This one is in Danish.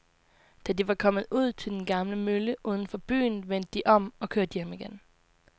Da de var kommet ud til den gamle mølle uden for byen, vendte de om og kørte hjem igen.